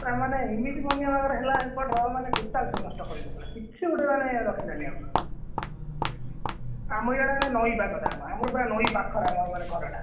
ପୁରା ମାନେ ଏମତି ବନ୍ୟା ହେଲା ଏପଟର ମାନେ total ସବୁ ନଷ୍ଟ କରି ପକେଇଲା କିଛି ଗୋଟେମାନେ ଆଉ ରଖିଲାନି ଆଉ ଆମର ଇଆଡେ ମାନେ ନଇ ପାଖଟା ଆମର ମାନେ ନଇ ପାଖରେ ଆମ ଘରଟା।